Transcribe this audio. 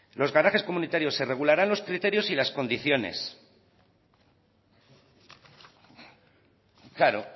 los garajes comunitarios se regularán los criterios y las condiciones claro